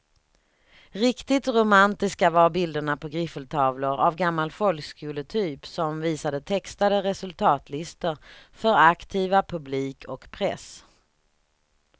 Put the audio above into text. Riktigt romantiska var bilderna på griffeltavlor av gammal folkskoletyp som visade textade resultatlistor för aktiva, publik och press.